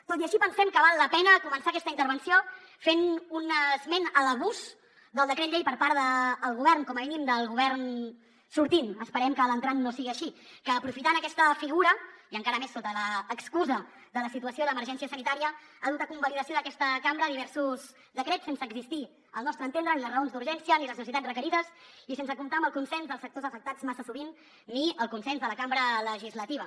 tot i així pensem que val la pena començar aquesta intervenció fent un esment a l’abús del decret llei per part del govern com a mínim del govern sortint esperem que l’entrant no sigui així que aprofitant aquesta figura i encara més sota l’excusa de la situació d’emergència sanitària ha dut a convalidació d’aquesta cambra diversos decrets sense existir al nostre entendre ni les raons d’urgència ni les necessitats requerides i sense comptar amb el consens dels sectors afectats massa sovint ni el consens de la cambra legislativa